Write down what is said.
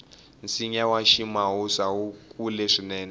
nsinya wa ximawusa wu kula swinene